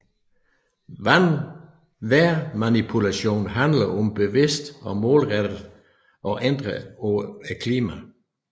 Vejrmanipulation handler om bevidst og målrettet at ændre på klima